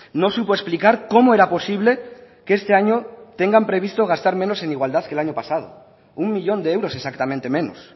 no supo explicar cómo era posible que este año tengan previsto gastar menos en igual que el año pasado uno millón de euros exactamente menos